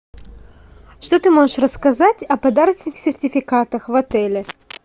что ты можешь рассказать о подарочных сертификатах в отеле